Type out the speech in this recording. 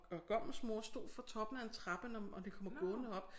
Og gommens mor stod for toppen af en trappe når når de kommer gående op